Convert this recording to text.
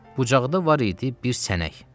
bucağda var idi bir sənək.